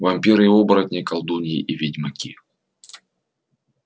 вампиры и оборотни колдуньи и ведьмаки